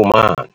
u mani.